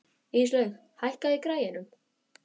Íslaug, hækkaðu í græjunum.